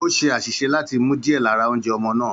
Ó ṣe àṣìṣe láti mu díẹ̀ lára oúnjẹ ọmọ náà.